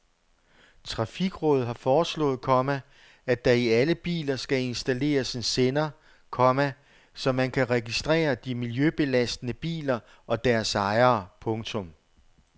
Trafikrådet har foreslået, komma at der i alle biler skal installeres en sender, komma så man kan registrere de miljøbelastende biler og deres ejere. punktum